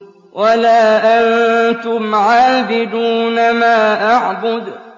وَلَا أَنتُمْ عَابِدُونَ مَا أَعْبُدُ